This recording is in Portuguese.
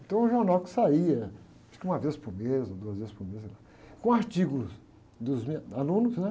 Então, era um jornal que saía, acho que uma vez por mês, ou duas vezes por mês, com artigos dos me, alunos, né?